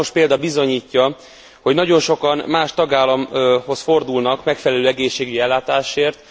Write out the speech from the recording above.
Számos példa bizonyítja, hogy nagyon sokan más tagállamhoz fordulnak megfelelő egészségügyi ellátásért.